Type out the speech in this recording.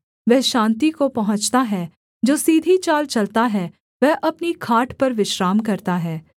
वह शान्ति को पहुँचता है जो सीधी चाल चलता है वह अपनी खाट पर विश्राम करता है